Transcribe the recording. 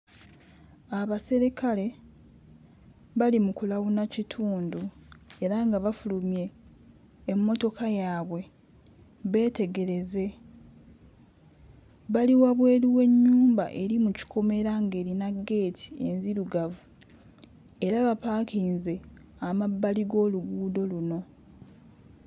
Abaserikale bali mu kulawuna kitundu era nga bafulumye emmotoka yaabwe beetegereze. Bali wabweru w'ennyumba eri mu kikomera ng'erina ggeeti enzirugavu. Era bapaakinze amabbali w'oluguudo luno.